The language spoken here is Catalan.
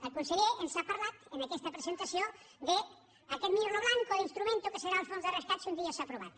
el conseller ens ha parlat en aquesta presentació d’aquest mirlo blanco d’instrument que serà el fons de rescat si un dia és aprovat